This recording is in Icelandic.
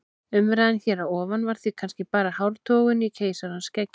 Umræðan hér að ofan var því kannski bara hártogun á keisarans skeggi.